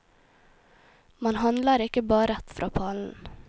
Man handler ikke bare rett fra pallen.